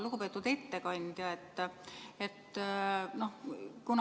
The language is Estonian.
Lugupeetud ettekandja!